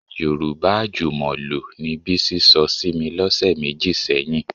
Yorùbá àjùmọ̀lò ni Bísí sọ sí mi lọ́sẹ̀ méjì sẹ́yìn